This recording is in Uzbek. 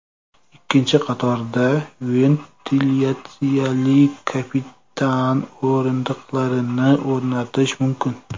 Ikkinchi qatorda ventilyatsiyali kapitan o‘rindiqlarini o‘rnatish mumkin.